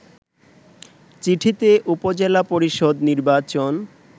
চিঠিতে উপজেলা পরিষদ নির্বাচন